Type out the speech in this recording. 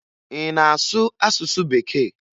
Ị na-asụ asụsụ Bekee?